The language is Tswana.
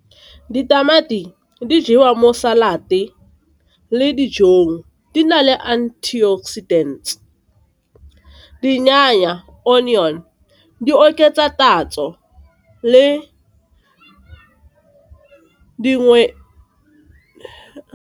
Ditamati di jewa mo salad-te le dijong, di na le anti-oxidant onion di oketsa tatso le dingwe.